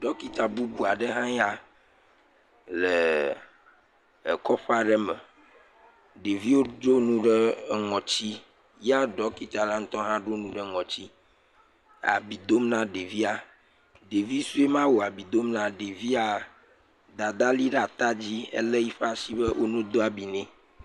Ɖɔkita bubu aɖe hãe ya, lee kɔƒe aɖe me. Ɖeviwo do nu ɖee eŋɔtsi. Ya ɖɔkitala ŋutɔ hã ɖo nu ɖe ŋɔtsi abi dom na ɖevia. Ɖevi sue ma wòle abi dom naa, Dadaa lé yiƒe ashi be wone do abi nɛ.